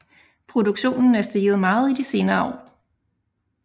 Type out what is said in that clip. Produktionen er steget meget i de senere år